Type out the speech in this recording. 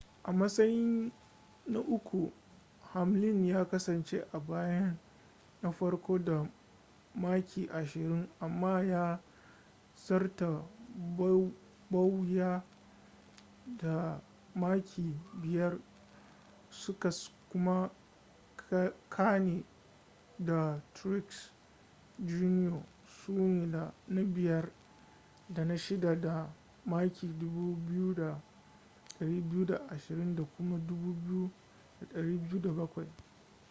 a matsayin na uku hamlin ya kasance a bayan na farko da maki ashirin amma ya zarta bowyer da maki biyar su kuma kahne da truex jr su ne na biyar da na shida da maki 2,220 da kuma 2,207